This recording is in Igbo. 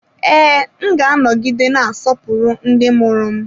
Ee, m ga-anọgide na-asọpụrụ ndị mụrụ m.